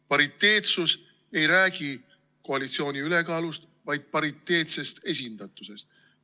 Pariteetsus ei räägi koalitsiooni ülekaalust, vaid pariteetsest esindatusest.